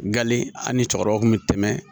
Nkalen an ni cɛkɔrɔbaw kun bɛ tɛmɛ